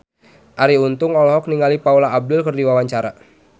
Arie Untung olohok ningali Paula Abdul keur diwawancara